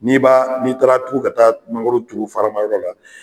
N'i b'a ni taara tugu ka ta mangoro juru faramayɔrɔ la